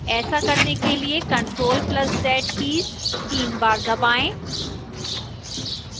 ऐसा करने के लिए ctrl + z कीज़ तीन बार दबाएं